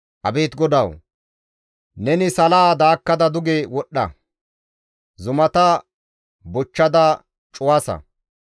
Abeet GODAWU! neni salaa daakkada duge wodhdha! zumata bochchada cuwasa!